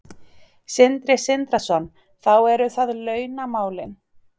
Sindri Sindrason: Þá eru það launamálin?